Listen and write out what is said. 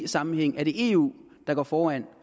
sammenhæng er det eu der går foran